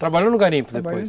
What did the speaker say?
Trabalhou no garimpo depois?